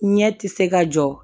Ɲɛ ti se ka jɔ